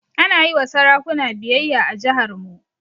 Ana yi wa sarakuna biyayya a jiharmu.